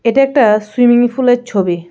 এটা একটা সুইমিং ফুলের ছবি.